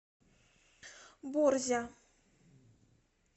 борзя